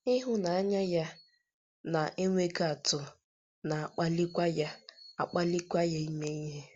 Ịhụnanya ya na - enweghị atụ na - akpalikwa ya - akpalikwa ya ime ihe.